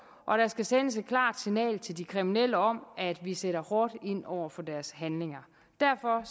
og der skal sendes et klart signal til de kriminelle om at vi sætter hårdt ind over for deres handlinger derfor